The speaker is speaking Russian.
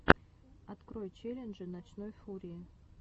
открой челленджи ночной фурии